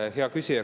Hea küsija!